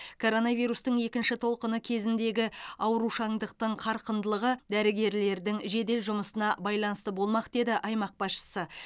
коронавирустың екінші толқыны кезіндегі аурушаңдықтың қарқындылығы дәрігерлердің жедел жұмысына байланысты болмақ деді аймақ басшысы